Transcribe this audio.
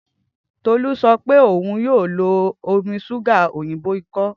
Tolu sọ pe oun yoo lo omi ṣuga oyinbo ikọ